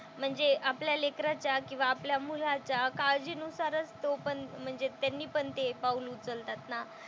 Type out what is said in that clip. म्हणजे आपल्या लेकराच्या किंवा आपल्या मुलाच्या काळजीनुसारच तो पण म्हणजे त्यांनी पण ते पाऊल उचलतात ना.